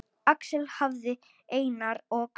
Axel hafði Einar og